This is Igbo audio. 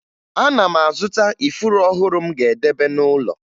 Ana m azụta ifuru ọhụrụ m ga-edebe n'ụlọ